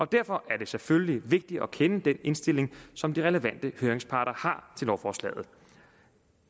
derfor er det selvfølgelig vigtigt at kende den indstilling som de relevante høringsparter har til lovforslaget